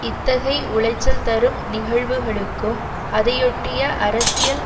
இத்தகை உளைச்சல் தரும் நிகழ்வுகளுக்கும் அதையொட்டிய அரசியல்